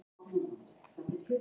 Ung þjóð